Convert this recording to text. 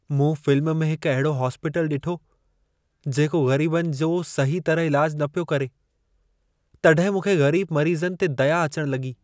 मूं फ़िल्म में हिकु अहिड़ो इस्पतालु ॾिठो, जेको ग़रीबनि जो सहीह तरह इलाज न पियो करे। तॾहिं मूंखे ग़रीब मरीज़नि ते दया अचण लॻी।